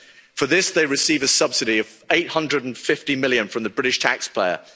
For this they receive a subsidy of 850 million from the British taxpayer.